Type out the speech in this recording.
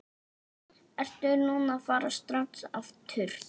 Ertu að fara strax aftur?